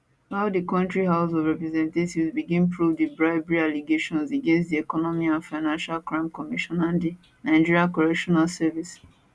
while di kontri house of representatives begin probe di bribery allegations against di economic and financial crimes commission and di nigerian correctional service